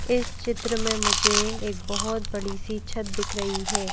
इस चित्र में मुझे एक बहोत बड़ी सी छत दिख रही है।